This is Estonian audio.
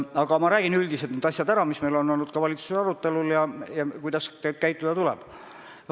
Aga ma räägin üldiselt need asjad ära, mis meil on olnud valitsuses arutelul, näiteks kuidas käituda tuleb.